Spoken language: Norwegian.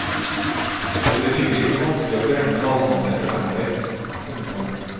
Det ble rimelig vanskelig å beregne avstander framover. punktum